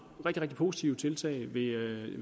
positive tiltag i